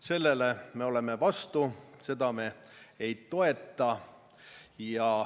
Sellele me oleme vastu, seda me ei toeta.